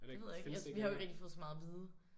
Det ved jeg ikke. Vi har jo ikke rigtig fået så meget at vide